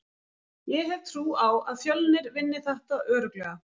Ég hef trú á að Fjölnir vinni þetta örugglega.